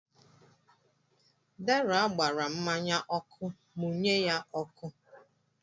Deraa gbaara mmanya ọkụ, mụnye ya ọkụ.